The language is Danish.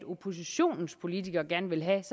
oppositionens politikere gerne vil have